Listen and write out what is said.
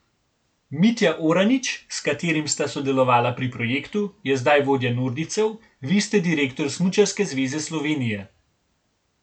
Mitja Oranič, s katerim sta sodelovala pri projektu, je zdaj vodja nordijcev, vi ste direktor Smučarske zveze Slovenije ...